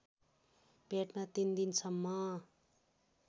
पेटमा ३ दिनसम्म